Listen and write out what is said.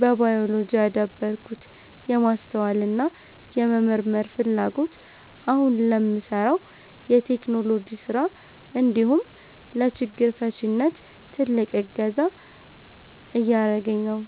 በባዮሎጂ ያዳበርኩት የማስተዋልና የመመርመር ፍላጎት አሁን ለምሠራው የቴክኖሎጂ ሥራ እንዲሁም ለችግር ፈቺነት ትልቅ እገዛ እያደረገኝ ነው።